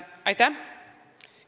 Aitäh!